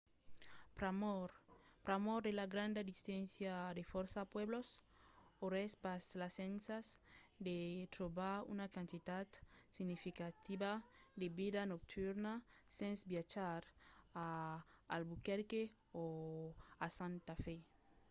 pr'amor de la granda distància de fòrça pueblos auretz pas l'escasença de trobar una quantitat significativa de vida nocturna sens viatjar a albuquerque o a santa fe